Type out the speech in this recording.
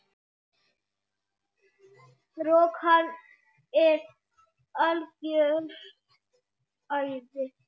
Rok, hann er algjört æði.